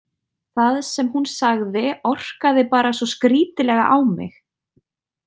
Það sem hún sagði orkaði bara svo skrítilega á mig.